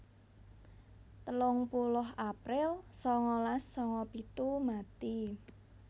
telung puluh april sangalas sanga pitu mati